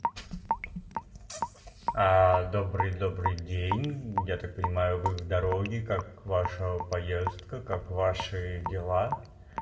добрый добрый день я так понимаю вы в дороге как ваша поездка как ваши дела